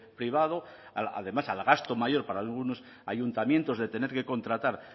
privado además al gasto mayor para algunos ayuntamientos de tener que contratar